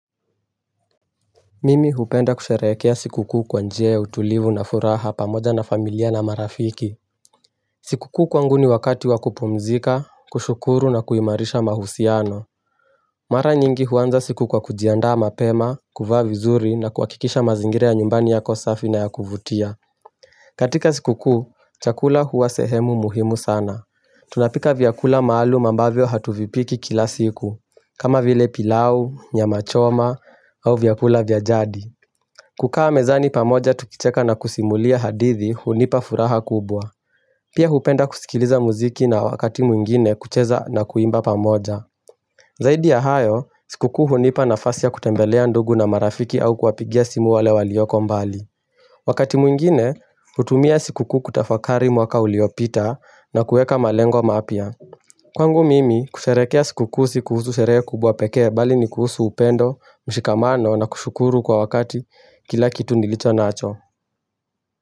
Mimi hupenda kusherehekea sikukuu kwa njia ya utulivu na furaha pamoja na familia na marafiki Sikukuu kwangu ni wakati wa kupumzika, kushukuru na kuimarisha mahusiano Mara nyingi huanza siku kwa kujiandaa mapema, kuvaa vizuri na kuhakikisha mazingira nyumbani yako safi na ya kuvutia katika sikukuu, chakula hua sehemu muhimu sana Tunapika vyakula maalum ambavyo hatuvipiki kila siku kama vile pilau, nyama choma, au vyakula vya jadi kukaa mezani pamoja tukicheka na kusimulia hadithi hunipa furaha kubwa. Pia hupenda kusikiliza muziki na wakati mwingine kucheza na kuimba pamoja. Zaidi ya hayo, sikukuu hunipa nafasi ya kutembelea ndugu na marafiki au kuwapigia simu wale walioko mbali. Wakati mwingine hutumia sikukuu kutafakari mwaka uliopita na kueka malengo mapya Kwangu mimi kusherehekea sikukuu si kuhusu sherehe kubwa pekee bali ni kuhusu upendo, mshikamano na kushukuru kwa wakati kila kitu nilicho nacho.